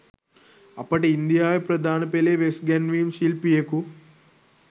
අපට ඉන්දියාවේ ප්‍රධාන පෙළේ වෙස් ගැන්වීම් ශිල්පියෙකු